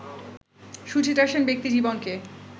সুচিত্রা সেন ব্যক্তি জীবনকে